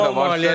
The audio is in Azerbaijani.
Pul da var.